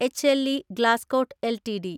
H L E Glascoat LTD